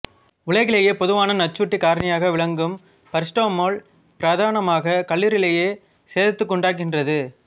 உலகிலேயே பொதுவான நச்சூட்டுக் காரணியாக விளங்கும் பரசிட்டமோல் பிரதானமாக கல்லீரலையே சேதத்துக்குண்டாக்குகிறது